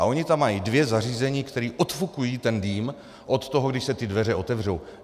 A oni tam mají dvě zařízení, která odfukují ten dým od toho, když se ty dveře otevřou.